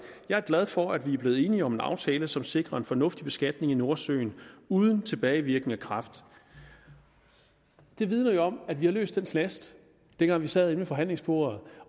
jeg er glad for at vi er blevet enige om en aftale som sikrer en fornuftig beskatning i nordsøen uden tilbagevirkende kraft det vidner jo om at vi har løst den knast dengang vi sad inde ved forhandlingsbordet